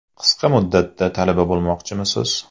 Qisqa muddatda talaba bo‘lmoqchimisiz?